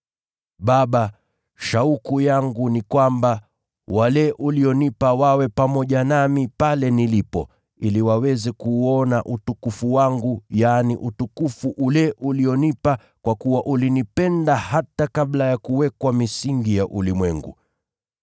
“Baba, shauku yangu ni kwamba, wale ulionipa wawe pamoja nami pale nilipo, ili waweze kuuona utukufu wangu, yaani, utukufu ule ulionipa kwa kuwa ulinipenda hata kabla ya kuwekwa misingi ya ulimwengu.